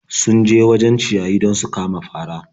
Sun je wajen ciyayi don su kama fari.